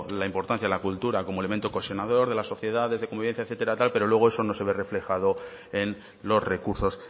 la importancia de la cultura como elemento cohesionador de la sociedad desde convivencia etcétera tal pero luego eso no se ve reflejado en los recursos